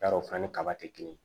Yarɔ o fana ni kaba tɛ kelen